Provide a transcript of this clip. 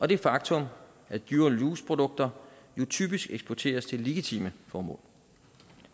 det faktum at dual use produkter typisk eksporteres til legitime formål